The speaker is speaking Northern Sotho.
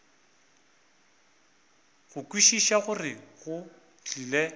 go kwešiša gore go tlile